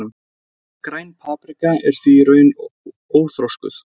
Græn paprika er því í raun óþroskuð.